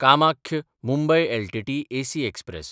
Kamakhya-Mumbai LTT AC express